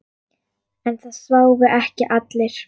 En það sváfu ekki allir.